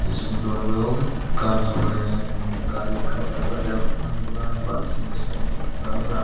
जिसमें दो लोग कार धो रहे हैं उम्म गाड़ी का दरवाजा खुला हुआ है बाल्टी में शैंपू घोरा हुआ --